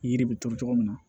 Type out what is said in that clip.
Yiri bɛ turu cogo min na